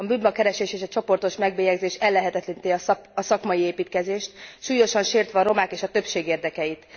A bűnbakkeresés és a csoportos megbélyegzés ellehetetleníti a szakmai építkezést, súlyosan sértve a romák és a többség érdekeit.